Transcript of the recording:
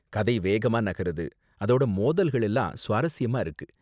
கதை வேகமா நகருது, அதோட மோதல்கள் எல்லாம் சுவாரஸ்யமா இருக்கு.